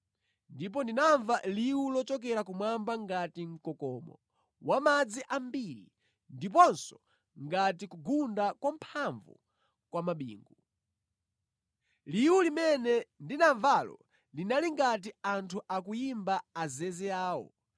Ndipo ndinamva liwu lochokera kumwamba ngati mkokomo wa madzi ambiri, ndiponso ngati kugunda kwamphamvu kwa bingu. Liwu limene ndinamvalo linali ngati a anthu akuyimba azeze awo.